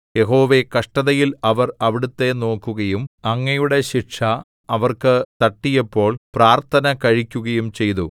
യഹോവേ കഷ്ടതയിൽ അവർ അവിടുത്തെ നോക്കുകയും അങ്ങയുടെ ശിക്ഷ അവർക്ക് തട്ടിയപ്പോൾ പ്രാർത്ഥന കഴിക്കുകയും ചെയ്തു